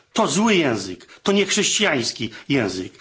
To zły język, to nie chrześcijański język.